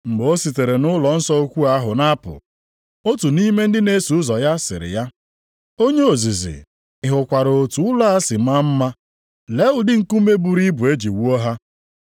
Mgbe o sitere nʼụlọnsọ ukwu ahụ na-apụ, otu nʼime ndị na-eso ụzọ ya siri ya, “Onye ozizi, ị hụkwara otu ụlọ a si maa mma. Lee ụdị nkume buru ibu e ji wuo ha.”